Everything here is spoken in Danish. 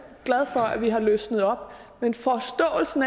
glad for at vi har løsnet op men forståelsen